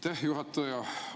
Aitäh, juhataja!